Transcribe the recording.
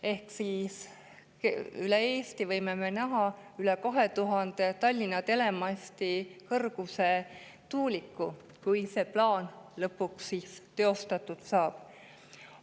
Ehk siis võime me üle Eesti näha üle 2000 Tallinna tele kõrguse tuuliku, kui see plaan lõpuks teoks saab.